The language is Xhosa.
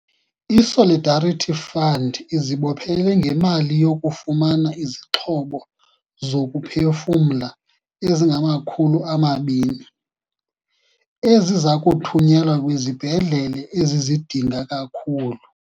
I-Solidarity Fund izibophele ngemali yokufumana izixhobo zokuphefumla ezingama-200, eziza kuthunyelwa kwizibhedlele ezizidinga kakhulu.